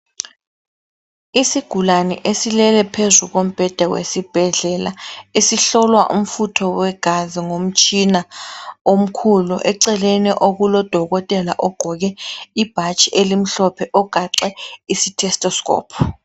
Isigulane esilele phezu kombheda wesibhedlela esihlolwa umfutho wegazi ngomtshina omkhulu eceleni okulodokotela ogqoke ibhatshi elimhlophe ogaxe istethoscope.